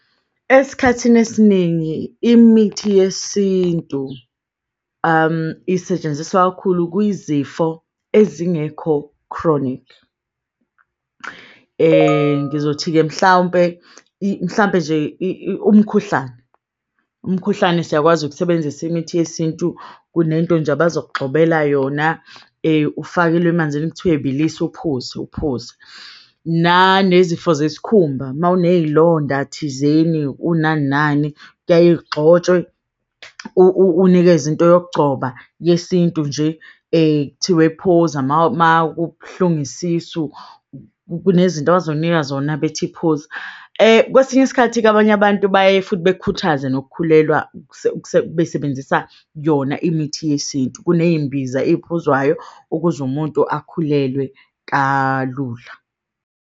Esikhathini esiningi imithi yesintu isetshenziswa kakhulu kwizifo ezingekho chronic. Ngizothi-ke mhlawumpe, mhlampe nje umkhuhlane umkhuhlane, siyakwazi ukusebenzisa imithi yesintu, kunento nje abazokugxobela yona ufakelwe emanzini. Kuthiwe bilisa uphuze, uphuze nane zifo zesikhumba. Ma uneyilonda thizeni, unani nani kuyaye kugxotshwe, unikeze into yokugcoba yesintu nje ekuthiwe phuza ma kubuhlungu isisu, kunezinto abazokunika zona bethi phuza. Kwesinye isikhathi-ke abanye abantu baye futhi bekhuthaze nokukhulelwa, besebenzisa yona imithi yesintu kuneyi imbiza eyiphuzwayo ukuze umuntu akhulelwe kalula.